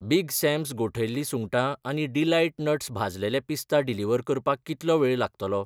Big Sam's गोठयल्ली सुंगटां आनी डिलाईट नट्स भाजलेले पिस्ता डिलिव्हर करपाक कितलो वेळ लागतलो ?